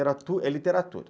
Literatu é literatura.